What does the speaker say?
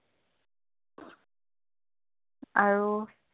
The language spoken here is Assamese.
আৰু